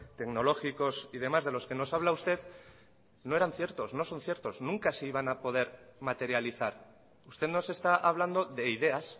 tecnológicos y demás de los que nos habla usted no eran ciertos no son ciertos nunca se iban a poder materializar usted nos está hablando de ideas